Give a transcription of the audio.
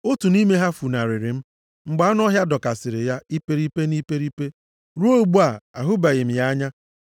Otu nʼime ha funarịrị m, mgbe anụ ọhịa dọkasịrị ya iperipe na iperipe. Ruo ugbu a, ahụbeghị m ya anya.